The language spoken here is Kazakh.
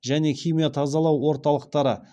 және химия тазалау орталықтары